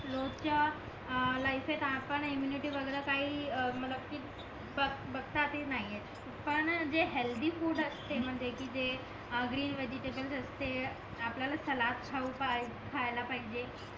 रोजच्या अं लायफेत आपण इम्म्युनिटी वगैरे काही अं मला ती बघतात हि नाही पण जे हेलधी फूड असते म्हणजे कि जे ग्रीन वेजिटेबलें असते आपल्याला सलाड खाऊ पाहिज खायला पाहिजे